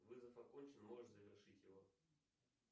вызов окончен можешь завершить его